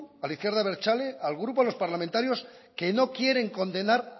a la izquierda abertzale al grupo de los parlamentarios que no quieren condenar